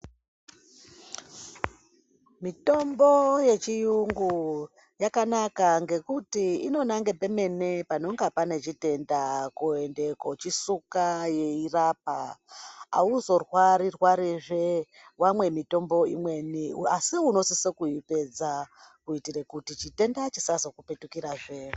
Mitombo yechiyungu yakanaka ngekuti inonange pemene panonga pane chitenda kuende kochisuka yeirapa. Hauzorwari-rwarizve wamwe mitombo imweni, asi unosiso kuipedza kuitire kuti chitenda chisazokupetukirazve.